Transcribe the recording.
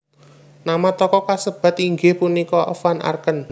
Nama toko kasebat inggih punika Van Arken